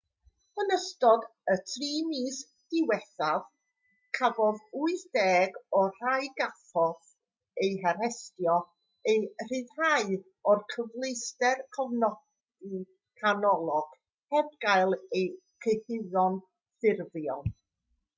yn ystod y 3 mis diwethaf cafodd 80 o'r rhai gafodd eu harestio eu rhyddhau o'r cyfleuster cofnodi canolog heb gael eu cyhuddo'n ffurfiol